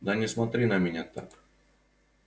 да не смотри на меня так